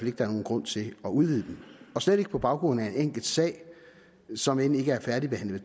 er nogen grund til at udvide dem og slet ikke på baggrund af en enkelt sag som end ikke er færdigbehandlet